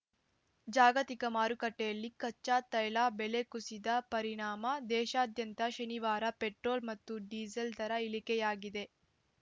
ಜಾಗತಿಕ ಮಾರುಕಟ್ಟೆಯಲ್ಲಿ ಕಚ್ಚಾ ತೈಲ ಬೆಲೆ ಕುಸಿದ ಪರಿಣಾಮ ದೇಶಾದ್ಯಂತ ಶನಿವಾರ ಪೆಟ್ರೋಲ್‌ ಮತ್ತು ಡೀಸೆಲ್‌ ದರ ಇಳಿಕೆಯಾಗಿದೆ